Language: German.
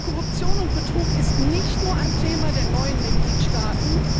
Korruption und Betrug ist nicht nur ein Thema der neuen Mitgliedstaaten.